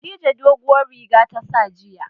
Khadija doguwar riga ta sa jiya.